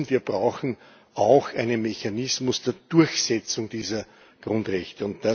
Wir brauchen auch einen Mechanismus zur Durchsetzung dieser Grundrechte.